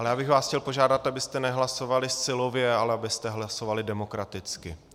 Ale já bych vás chtěl požádat, abyste nehlasovali silově, ale abyste hlasovali demokraticky.